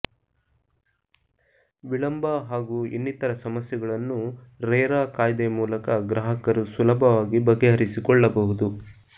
ವಿಳಂಬ ಹಾಗೂ ಇನ್ನಿತರ ಸಮಸ್ಯೆಗಳನ್ನು ರೇರಾ ಕಾಯ್ದೆ ಮೂಲಕ ಗ್ರಾಹಕರು ಸುಲಭವಾಗಿ ಬಗೆಹರಿಸಿಕೊಳ್ಳಬಹುದು